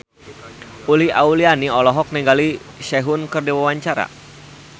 Uli Auliani olohok ningali Sehun keur diwawancara